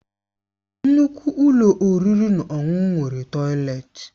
Nnukwu ụlọ oriri na ọṅụṅụ nwere tọileti